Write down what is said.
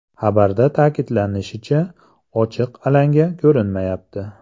Xabarda ta’kidlanishicha, ochiq alanga ko‘rinmayapti.